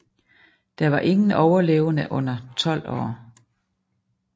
Der var ingen overlevende under 12 år